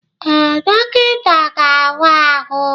Ee, dọkịta ga-awa ahụ.